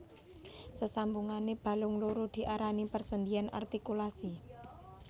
Sesambungane balung loro diarani persendhian artikulasi